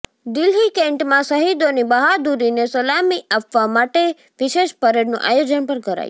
દિલ્હી કેન્ટમાં શહીદોની બહાદૂરીને સલામી આપવા માટે વિશેષ પરેડનું આયોજન પણ કરાયું